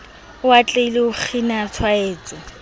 o atlehile ho kgina tshwaetso